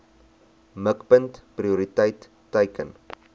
mikpunt prioriteit teiken